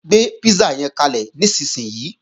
Gbé písà yẹn kalẹ̀ nísinsìnyí!